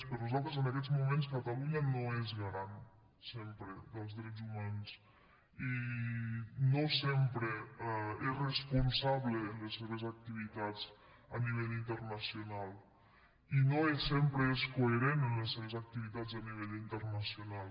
per nosaltres en aquests moments catalunya no és garant sempre dels drets humans i no sempre és responsable en les seves activitats a nivell internacional i no sempre és coherent en les seves activitats a nivell internacional